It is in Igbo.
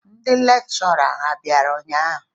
Ndị lekshọra a bịara ụnyaahụ?